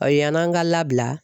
O yann'an ka labila